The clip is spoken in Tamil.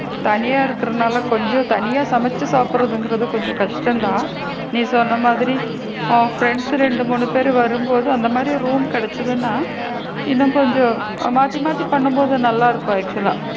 தனியா இருக்கிறனால கொஞ்சம் தனியா சமைச்சு சாப்பிடுறது கொஞ்சம் கஷ்டம் தான் நீ சொன்ன மாதிரி ஆ ப்ரண்ட் ரெண்டு மூணு பேரு வர மாதிரி அந்த மாதிரி room கிடைச்சதுன்னா இன்னும் கொஞ்சம் ஆ மாத்தி மாத்தி பண்ணும் போது நல்லா இருக்கும் actual லா